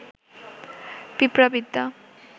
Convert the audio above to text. পিঁপড়াবিদ্যা